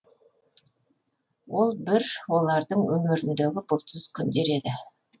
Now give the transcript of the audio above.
ол бір олардың өміріндегі бұлтсыз күндер еді